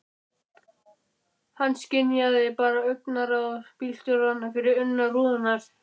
Hann skynjaði bara augnaráð bílstjóranna fyrir innan rúðurnar.